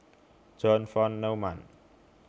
John von Neumann